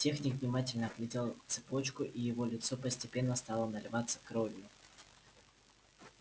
техник внимательно оглядел цепочку и его лицо постепенно стало наливаться кровью